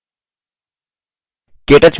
केthe window प्रदर्शित होती है